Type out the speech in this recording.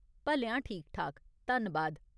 भलेआं ठीक ठाक, धन्नबाद।